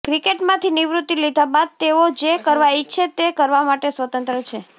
ક્રિકેટમાંથી નિવૃત્તિ લીધા બાદ તેઓ જે કરવા ઇચ્છે તે કરવા માટે સ્વતંત્ર છે